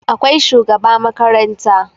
akwai shugaba makaranta